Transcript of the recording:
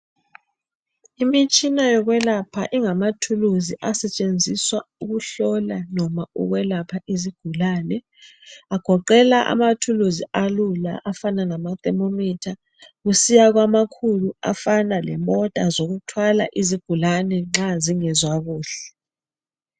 Imitshina yokwelapha ingamathuluzi asetshenziswa ukuhlola noma ukulapha izigulane. Agoqela amathuluzi akula afana lama thermometer kusiya kwamakhulu afana lemota zokuthwala izigulane nxa zingezwa kuhle.